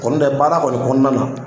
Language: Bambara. Kɔni tɛ baara kɔni kɔnɔna na